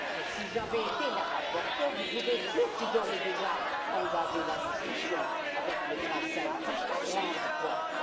Si j'avais été la rapporteure, vous pouvez être sûre que j'aurais déjà engagé la discussion avec le Conseil, par la grande porte.